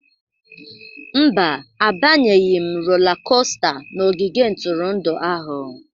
Mba, abanyeghị m rola kosta n'ogige ntụrụndụ ahụ.